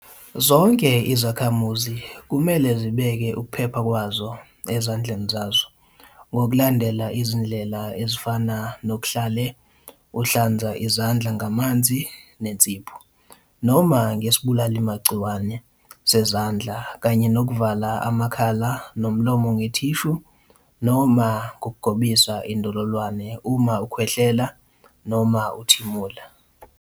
Zonke izakhamuzi kumele zibeke ukuphepha kwazo ezandleni zazo ngokulandela izindlela ezifana nokuhlale uhlanza izandla ngamanzi nensipho noma ngesibulalimagciwane sezandla kanye nokuvala amakhala nomlomo ngethishu noma ngokugobisa indololwane uma ukhwehlela noma uthimula.